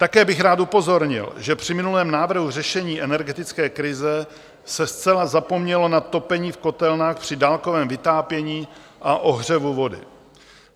Také bych rád upozornil, že při minulém návrhu řešení energetické krize se zcela zapomnělo na topení v kotelnách při dálkovém vytápění a ohřevu vody.